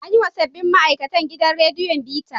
An yiwa sabbin ma'aikatn gidan radiyon bita.